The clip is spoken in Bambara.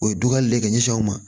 O ye dugale le k'i ɲɛsin aw ma